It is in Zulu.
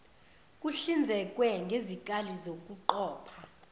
kuhlinzekwe ngezikali zokuqopha